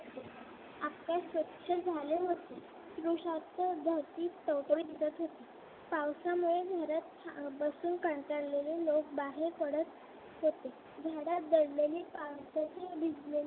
धरती टवटवीत दिसत होती पावसामुळे घरात बसून कंटाळलेले लोक बाहेर पडत होते. झाडात दडलेली पावसाची भिजलेली